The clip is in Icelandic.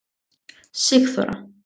Sigþóra